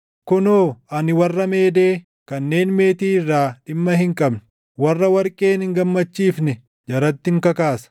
Kunoo ani warra Meedee kanneen meetii irraa dhimma hin qabne warra warqeen hin gammachiifne jarattin kakaasa.